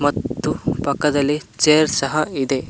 ಮತ್ತು ಪಕ್ಕದಲ್ಲಿ ಚೇರ್ ಸಹ ಇದೆ.